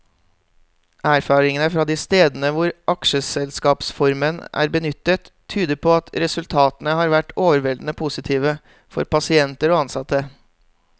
Erfaringene fra de stedene hvor aksjeselskapsformen er benyttet, tyder på at resultatene har vært overveldende positive for pasienter og ansatte.